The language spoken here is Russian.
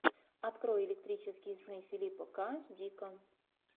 открой электрические сны филиппа к дика